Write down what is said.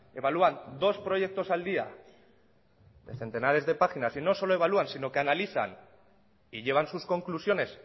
evalúan dos proyectos al día de centenares de páginas y no solo evalúan sino que analizan y llevan sus conclusiones